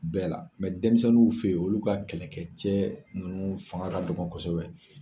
Bɛɛ la denmisɛnninw fɛ yen olu ka kɛlɛkɛ cɛ nunnu fanga ka dɔgɔ kosɛbɛ.